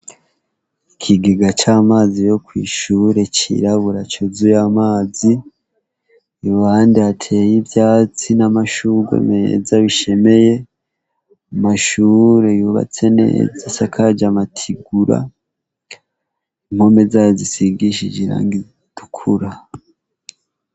Ikigega c'amazi yo kw'ishure cirabura cozuy'amazi. Iruhande hateye ivyatsi n'amashurwe meza bishemeye. Amashure yubatse neza asakaje amatigura, impome zayo zisigishije irangi ritukura.